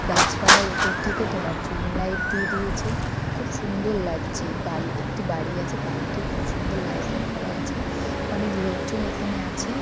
গাছপালার উপর থেকে তোমার জুন লাইট দিয়ে দিয়েছে খুব সুন্দর লাগছে বাড়ি একটি বাড়ি আছে বাড়িটিও খুব সুন্দর লাইটিং করা আছে অনেক লোকজন এখানে আছে।